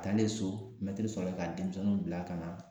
A taalen so mɛtiri sɔrɔ ka denmisɛnnunw bila ka na